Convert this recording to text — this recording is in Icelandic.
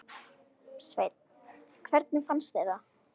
Sveinn: Hvernig finnst þér það?